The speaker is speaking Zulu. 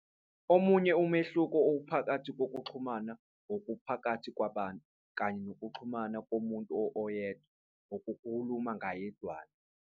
Omunye umehluko uphakathi kokuxhumana okuphakathi kwabantu, kanye nokuxhumana komuntu oyedwa, okuwukukhuluma ngayedwana.